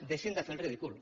deixin de fer el ridícul